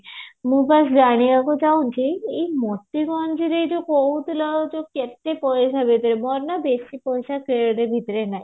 ମୁଁ କଣ ଜାଣିବାକୁ ଚାହୁଁଛି ଏଇ ମୋତିଗଞ୍ଜ ରେ ଯୋଉ କହୁଥିଲ କେତେ ପଇସା ଭିତରେ ମାନେ ବେଶୀ ପଇସା ଭିତରେ ନାହିଁ